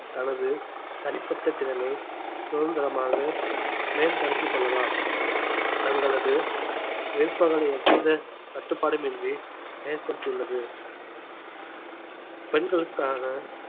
தனது தனிப்பட்ட திறனை சுதந்திரமாக மேம்படுத்திக் கொள்ளலாம் தங்களது விருப்பங்களை எவ்வித கட்டுப்பாடுமின்றி ஏற்படுத்தியுள்ளது பெண்களுக்காக